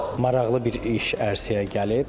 Maraqlı bir iş ərsəyə gəlib.